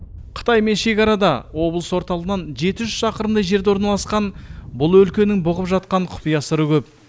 қытаймен шекарада облыс орталығынан жеті жүз шақырымдай жерде орналасқан бұл өлкенің бұғып жатқан құпия сыры көп